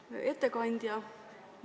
Hea ettekandja!